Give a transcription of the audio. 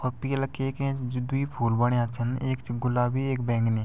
और पीला केक एैंच जु द्वि फूल बण्या छन ऐक च गुलाबी ऐक बैंगनी।